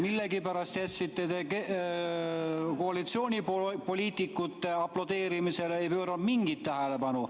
Millegipärast jätsite te koalitsioonipoliitikute aplodeerimise tähelepanuta, ei pööranud sellele mingit tähelepanu.